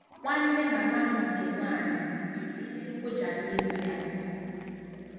Nwanne mama m nke nwanyị nwere ihe nkuja n'ihu ya.